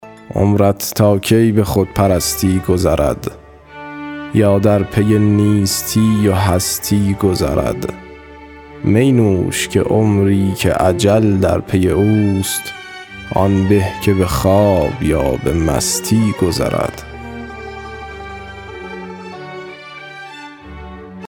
عمرت تا کی به خودپرستی گذرد یا در پی نیستی و هستی گذرد می نوش که عمری که اجل در پی اوست آن به که به خواب یا به مستی گذرد